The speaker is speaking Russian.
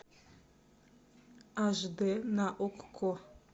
аш д на окко